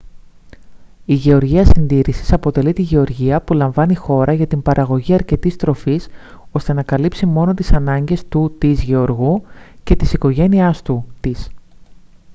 h γεωργία συντήρησης αποτελεί τη γεωργία που λαμβάνει χώρα για την παραγωγή αρκετής τροφής ώστε να καλύψει μόνο τις ανάγκες του/της γεωργού και της οικογένειάς του/της